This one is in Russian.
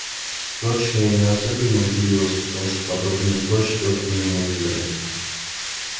впрочем я не особенно удивилась потому что подобное сборище только в миниатюре